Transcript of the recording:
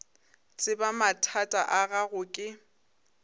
tseba mathata a gago ke